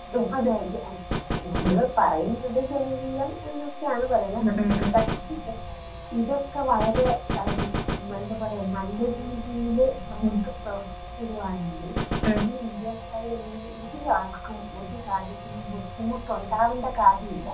ഉം അതേ *നോട്ട്‌ ക്ലിയർ* നമ്മൾ പറയുന്നത് ജനകീയം എന്നൊക്കെയാണ് പറയുന്നേ. പക്ഷേ ഇതൊക്കെ വളരെ എന്താ പറയാ നല്ല രീതിയിൽ നമുക്ക് പ്രവർത്തിക്കുകയാണെങ്കിൽ. ഈ ഇന്ത്യക്കാര് നോട്ട്‌ ക്ലിയർ ഇവിടെ ആർക്കും ഒരു കാര്യത്തിലും ബുദ്ധിമുട്ടുണ്ടാവേണ്ട കാര്യമില്ല.